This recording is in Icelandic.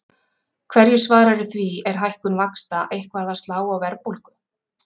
Hverju svararðu því, er hækkun vaxta eitthvað að slá á verðbólgu?